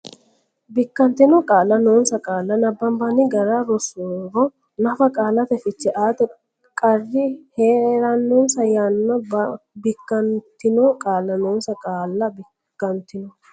Bikkantino qaalla noonsa qaalla nabbanbanni gara rossuro nafa qaalate fiche aate qarri hee rannosa yanna Bikkantino qaalla noonsa qaalla Bikkantino.